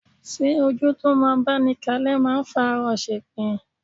Ṣé ojú tó máa báni kalẹ́ máa ń fàárọ ṣepin?